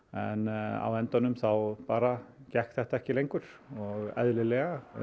en á endanum þá bara gekk þetta ekki lengur og eðlilega